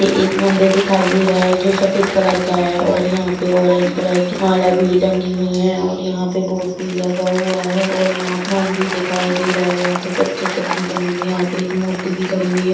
यहाँ एक मंदिर दिखाई दे रहा है जो सफेद कलर का है और यहाँ पे ऑरेंज कलर की माला भी टंगी हुई है और यहाँ पे बोर्ड भी लगा हुआ है और यहाँ आसमान भी दिखाई दे रहा है यहाँ पे कुछ चित्र भी बनी हुई है यहाँ पे एक मूर्ति भी खड़ी हुई है।